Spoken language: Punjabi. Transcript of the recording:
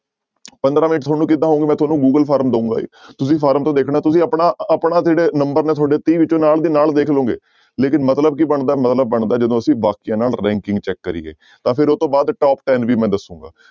ਪੰਦਰਾਂ ਮਿੰਟ ਤੁਹਾਨੂੰ ਕਿੱਦਾਂ ਹੋਣਗੇ ਮੈਂ ਤੁਹਾਨੂੰ ਗੂਗਲ form ਦਊਂਗਾ ਤੁਸੀਂ form ਤੋਂ ਦੇਖਣਾ ਤੁਸੀਂ ਆਪਣਾ ਆਪਣਾ ਜਿਹੜੇ number ਨੇ ਤੁਹਾਡੇ ਤੀਹ ਵਿੱਚੋਂ ਨਾਲ ਦੀ ਨਾਲ ਦੇਖ ਲਓਗੇ ਲੇਕਿੰਨ ਮਤਲਬ ਕੀ ਬਣਦਾ ਹੈ ਮਤਲਬ ਬਣਦਾ ਹੈ ਜਦੋਂ ਅਸੀਂ ਬਾਕੀਆਂ ਨਾਲ ranking check ਕਰੀਏ ਤਾਂ ਫਿਰ ਉਹ ਤੋਂ ਬਾਅਦ top ten ਵੀ ਮੈਂ ਦੱਸਾਂਗਾ।